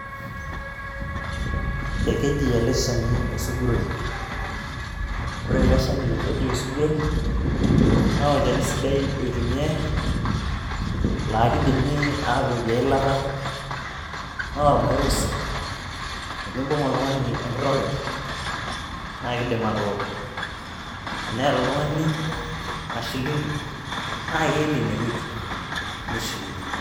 Ekeji ele shani osuguroi. ore ele shani loji osugroi naa olchani sidai oitumiae laa kidimi atokie eilata naa ormairo sii .tenibung oltungani enkiroket naa kidim atooko. teneata oltungani mashilingi naa keelie ine wueji nishuyie.